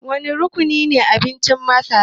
Wane rukunine abincin masara